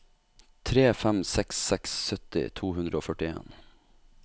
tre fem seks seks sytti to hundre og førtien